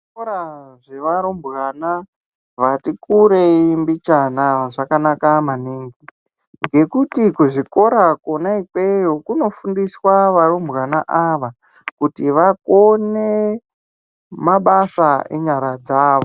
Zvikora zvevarumbwana vati kurei mbichana zvakanaka maningi ngekuti kzvikora kwona ikweyo kunofundiswa varumbwana ava kuti vakone mabasa enyara dzavo.